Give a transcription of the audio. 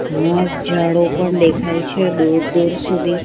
મસ્ત જાડો પણ દેખાય છે દૂર દૂર સુધી.